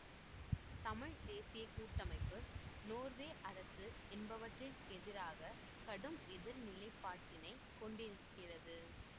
தமிழ் தேசிய கூட்டமைப்பு நோர்வே அரசு என்பவற்றிக்கெதிராக கடும் எதிர் நிலைப்பாட்டினைக் கொண்டிருக்கிறது